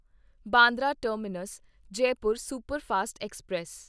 Bandra terminus Jaipur superfast express